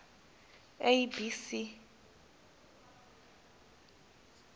a b c